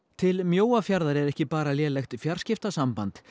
til Mjóafjarðar er ekki bara lélegt fjarskiptasamband